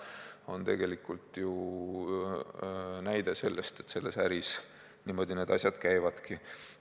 See on tegelikult ju näide selle kohta, et selles äris niimoodi need asjad käivadki.